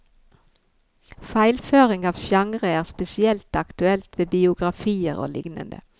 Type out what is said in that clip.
Feilføring av sjangrer er spesielt aktuelt ved biografier og lignende.